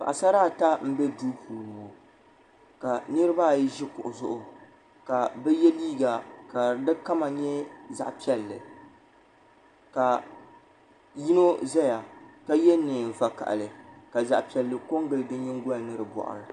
Paɣasara ata n bɛ duu puuni ka niriba ayi ʒi kuɣu zuɣu ka bi yɛ liiga ka di kama nyɛ zaɣa piɛlli ka yino zaya ka yɛ niɛn vakahili ka zaɣa piɛlli ko n gili di nyingoli ni di bɔɣiri.